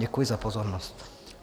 Děkuji za pozornost.